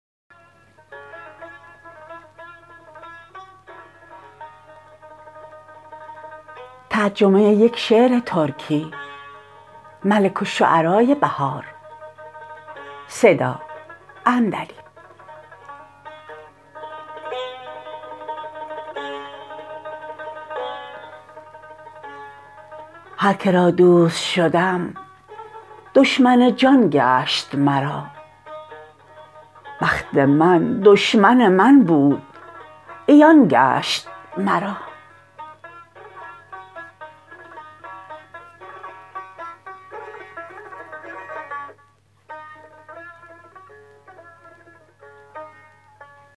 هرکرا دوست شدم دشمن جان گشت مرا بخت من دشمن من بود عیان گشت مرا